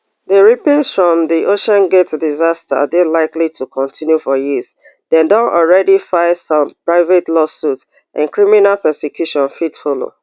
di ripples from di oceangate disaster dey likely to kontinu for years dem don already file some private lawsuits and criminal prosecutions fit follow